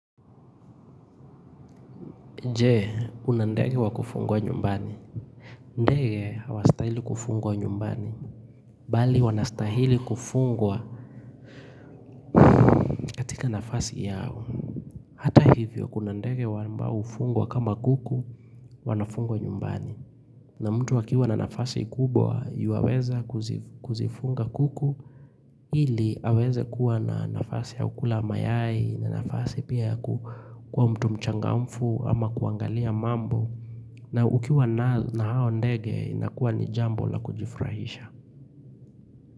Je unandege wa kufungwa nyumbani ndege hawastahili kufungwa nyumbani bali wanastahili kufungwa katika nafasi yao hata hivyo kuna ndege ambao hufungwa kama kuku wanafungwa nyumbani na mtu akiuwa na nafasi kubwa yuwaweza kuzifunga kuku ili aweze kuwa na nafasi yao kula mayai na nafasi pia kwa mtu mchangamfu ama kuangalia mambo na ukiwa na hao ndege inakuwa ni jambo la kujifurahisha.